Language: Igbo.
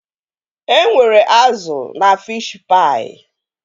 E nwere azụ na fishi paị